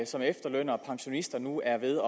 som efterlønnere og pensionister nu er ved